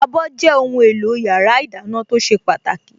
Abọ́ jẹ́ ohùn èlò yàrá ìdáná tó ṣe pàtàkì